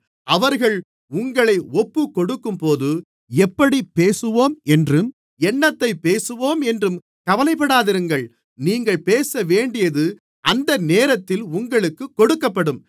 அவர்கள் உங்களை ஒப்புக்கொடுக்கும்போது எப்படிப் பேசுவோம் என்றும் என்னத்தைப் பேசுவோம் என்றும் கவலைப்படாமலிருங்கள் நீங்கள் பேசவேண்டியது அந்தநேரத்தில் உங்களுக்குக் கொடுக்கப்படும்